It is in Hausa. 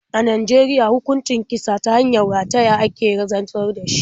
A Najeriya hukuncin kisa ta hanyar rataya ake zartar da shi.